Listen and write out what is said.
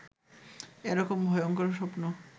এ রকম ভয়ংকর স্বপ্ন